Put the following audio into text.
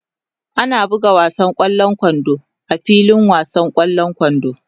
Ana buga wasan ƙwallon kwando a filin wasan ƙwallon kwando.